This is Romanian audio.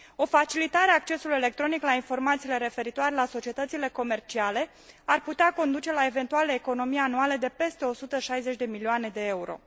O facilitare a accesului electronic la informațiile referitoare la societățile comerciale ar putea conduce la eventuale economii anuale de peste 160 de milioane de euro.